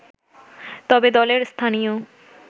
তবে দলের স্থানীয়